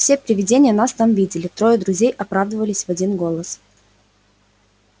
все привидения нас там видели трое друзей оправдывались в один голос